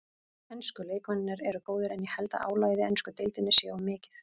Ensku leikmennirnir eru góðir en ég held að álagið í ensku deildinni sé of mikið.